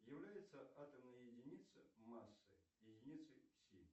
является атомная единица массы единицей сил